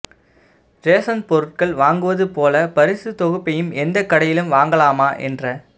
ration பொருட்கள் வாங்குவது போல பரிசு தொகுப்பையும் எந்த கடையிலும் வாங்கலாமா என்ற